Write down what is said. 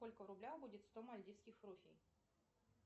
сколько в рублях будет сто мальдивских руфий